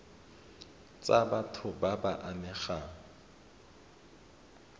tsa batho ba ba amegang